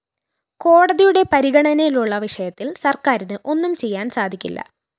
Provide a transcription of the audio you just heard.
കോടതിയുടെ പരിഗണനയിലുള്ള വിഷയത്തില്‍ സര്‍ക്കാരിന് ഒന്നും ചെയ്യാന്‍ സാധിക്കില്ല